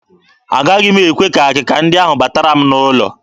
Agaghị m ekwe ka akịka ndị ahụ batara m n'ụlọ.